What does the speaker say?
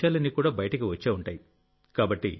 ఆ విషయాలన్నీ కూడా బయటకు వచ్చే ఉంటాయి